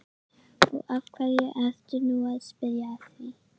Og af hverju ertu nú að spyrja að því?